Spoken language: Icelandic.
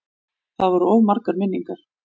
Það voru of margar minningar.